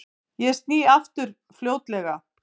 Ég sný aftur fljótlega.